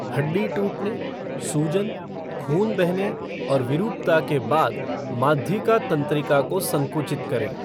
हड्डी टूटने, सूजन, खून बहने और विरूपता के बाद माध्यिका तंत्रिका को संकुचित करें।